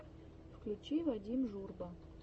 включи вадим журба